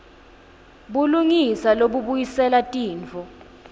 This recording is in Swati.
bulungisa lobubuyisela tintfo